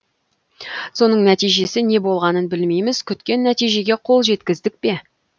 соның нәтижесі не болғанын білмейміз күткен нәтижеге қол жеткіздік пе